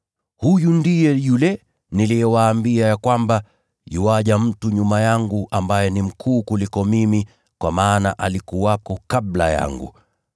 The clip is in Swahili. Huyu ndiye yule niliyewaambia kwamba, ‘Mtu anakuja baada yangu ambaye ni mkuu kuniliko mimi, kwa kuwa alikuwepo kabla yangu.’